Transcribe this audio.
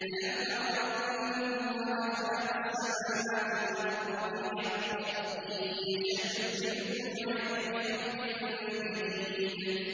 أَلَمْ تَرَ أَنَّ اللَّهَ خَلَقَ السَّمَاوَاتِ وَالْأَرْضَ بِالْحَقِّ ۚ إِن يَشَأْ يُذْهِبْكُمْ وَيَأْتِ بِخَلْقٍ جَدِيدٍ